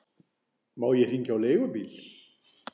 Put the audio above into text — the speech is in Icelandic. Má ég hringja á leigubíl?